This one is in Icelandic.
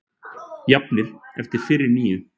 Jafnir eftir fyrri níu